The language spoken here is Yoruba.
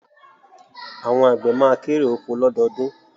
Àwọn àgbẹ̀ ma kérè oko lọ́dọọdún